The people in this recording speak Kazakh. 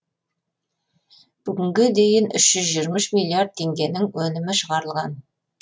бүгінге дейін үш жүз жиырма үш миллиард теңгенің өнімі шығарылған